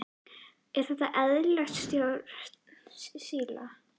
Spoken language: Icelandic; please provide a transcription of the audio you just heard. Er þetta eðlileg stjórnsýsla?